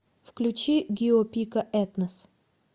включи гио пика этнос